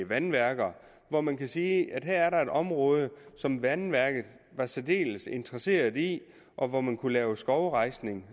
vandværker og hvor man kan sige at der her er et område som vandværket er særdeles interesseret i og hvor man kunne lave skovrejsning